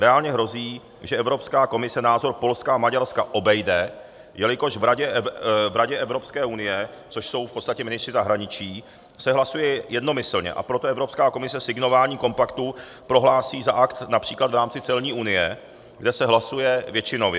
Reálně hrozí, že Evropská komise názor Polska a Maďarska obejde, jelikož v Radě Evropské unie, což jsou v podstatě ministři zahraničí, se hlasuje jednomyslně, a proto Evropská komise signování kompaktu prohlásí za akt například v rámci celní unie, kde se hlasuje většinově.